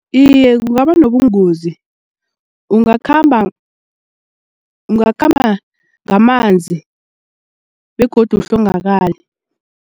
Iye, kungaba nobungozi ungakhamba ungakhamba ngamanzi begodu uhlongakale.